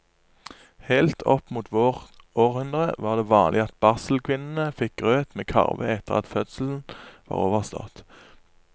Helt opp mot vårt århundre var det vanlig at barselkvinnene fikk grøt med karve etter at fødselen var overstått.